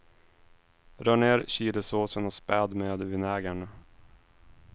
Rör ned chilisåsen och späd med vinägern.